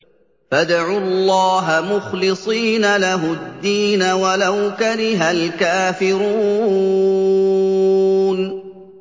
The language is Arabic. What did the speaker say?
فَادْعُوا اللَّهَ مُخْلِصِينَ لَهُ الدِّينَ وَلَوْ كَرِهَ الْكَافِرُونَ